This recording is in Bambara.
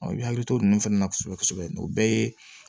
i hakili to nin fana na kosɛbɛ kosɛbɛ o bɛɛ ye